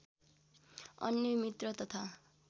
अन्य मित्र तथा